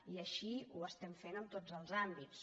i així ho estem fent en tots els àmbits